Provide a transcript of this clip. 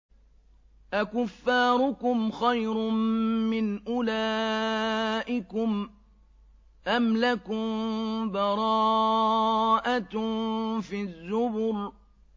أَكُفَّارُكُمْ خَيْرٌ مِّنْ أُولَٰئِكُمْ أَمْ لَكُم بَرَاءَةٌ فِي الزُّبُرِ